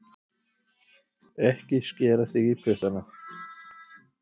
Ekki skera þig í puttana